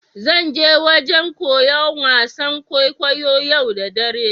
Zan je wajen koya wasan kwaikwayo'n yau da dare.